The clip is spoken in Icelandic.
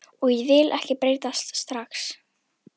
Og ég vil ekki breytast strax.